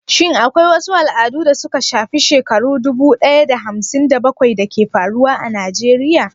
Shin akwai wasu al'adu da suka shafi shekaru dubu ɗaya da hamsin da bakwai da ke faruwa a Najeriya?